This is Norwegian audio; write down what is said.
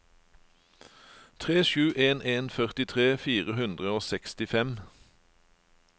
tre sju en en førtitre fire hundre og sekstifem